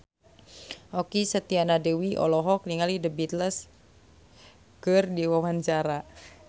Okky Setiana Dewi olohok ningali The Beatles keur diwawancara